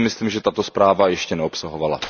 To si myslím, že tato zpráva ještě neobsahovala.